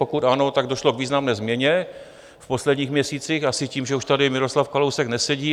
Pokud ano, tak došlo k významné změně v posledních měsících - asi tím, že už tady Miroslav Kalousek nesedí.